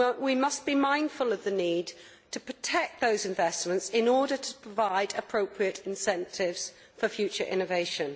We must be mindful of the need to protect those investments in order to provide appropriate incentives for future innovation.